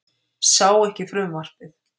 Sá ekki frumvarpið